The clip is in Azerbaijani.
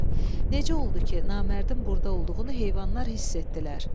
Necə oldu ki, namərdin burda olduğunu heyvanlar hiss etdilər?